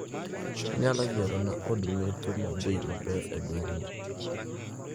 Inyalo yierona od metho mabei maber e gweng'ni